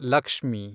Lakshmi